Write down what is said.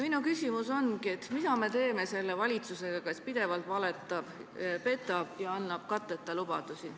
Minu küsimus ongi, mida me teeme selle valitsusega, kes pidevalt valetab, petab ja annab katteta lubadusi.